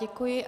Děkuji.